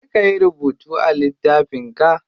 Je kayi rubutu a littafin ka.